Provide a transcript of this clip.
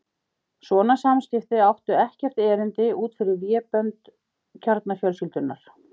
Svona samskipti áttu ekkert erindi út fyrir vébönd kjarnafjölskyldunnar.